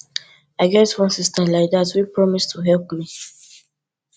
i get wan sister like dat wey promise to help me